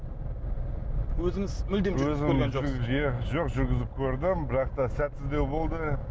өзіңіз мүлде иә жоқ жүргізіп көрдім бірақ та сәтсіздеу болды